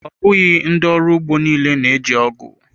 Ọ bụghị ndị ọrụ ugbo niile na-eji ọgụ.